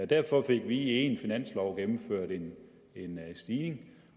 derfor fik vi i en finanslov gennemført en stigning